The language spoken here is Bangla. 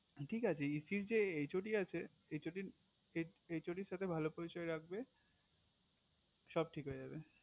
ঠিক আছে EC এর যে HOD আছে HOD এর সাথে ভালো পরিচয় রাখবে সব ঠিক হয়ে যাবে